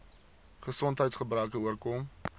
gesondheids gebreke oorkom